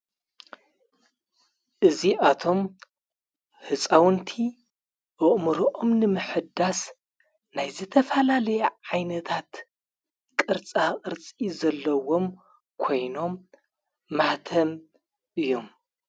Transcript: እዙኣቶም ሕፃውንቲ ኦእምሮኦም ኒምሕዳስ ናይ ዘተፋላለየ ዓይነታት ቕርጻ ቕርፂ ዘለዎም ኮይኖም ማኅተም እዮም።